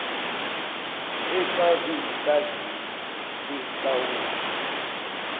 echazwe yisaziso senhlawulo